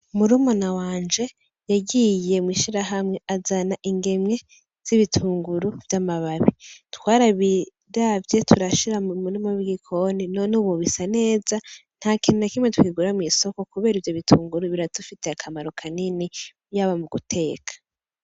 Murumuna wanje yagiye mw'ishirahamwe azana ingemwe z'ibitunguru vy'amababi. Twarabiravye turashira mu murima w'igikoni, none ubu bisa neza. Nta kintu na kimwe tukigura mw'isoko kubera ivyo bitunguru biradufitiye akamaro kanini, yaba mu guteka.